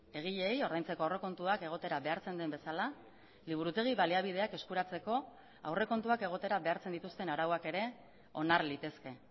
egileei ordaintzeko aurrekontuak egotera behartzen den bezala liburutegi baliabideak eskuratzeko aurrekontuak egotera behartzen dituzten arauak ere onar litezke